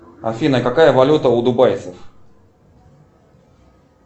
афина какая валюта у дубайцев